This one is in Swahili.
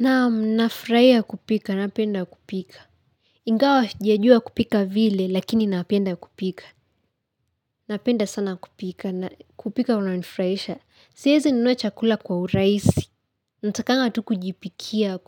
Naam, nafraia kupika napenda kupika. Ingawa sjajua kupika vile lakini napenda kupika. Napenda sana kupika na kupika unanifraisha. Siezi nunua chakula kwa uraisi. Ntakanga tu kujipikia